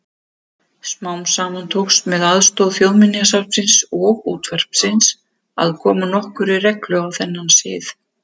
Smám saman tókst með aðstoð Þjóðminjasafnsins og útvarpsins að koma nokkurri reglu á þennan sið.